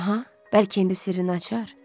Aha, bəlkə indi sirrini açar.